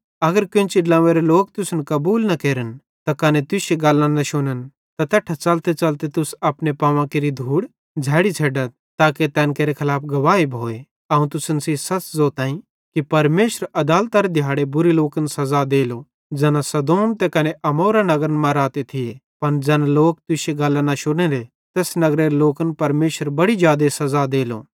अगर केन्ची ड्लोंव्वेरे लोक तुसन कबूल न केरन त कने तुश्शी गल्लां न शुनन् त तैट्ठां च़लतेच़लते तुस अपने पावां केरि धूड़ झ़ेड़ी छ़ेड्डथ ताके तैन केरे खलाफ गवाही भोए अवं तुसन सेइं सच़ ज़ोतईं कि परमेशरेरे अदालतरे दिहाड़े बुरे लोकन सज़ा देलो ज़ैना सदोम त कने अमोरा नगरन मां रहते थिये पन ज़ैना लोक तुश्शी गल्लां न शुनेले तैस नगरेरे लोकन परमेशर बड़ी जादे सज़ा देलो